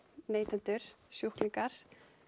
neytendur sjúklingar